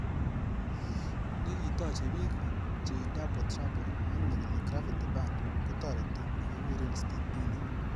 Nikitojei bik jaydouble Trouble ak nekile Graviti Band kotoreti nekikure Steve Junior.